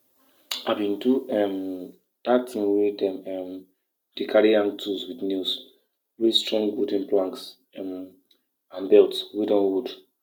one heavy rain with thunder wey fall for one afternoon for june wey scatter the shed shed wey dey cover our seed wey never mature.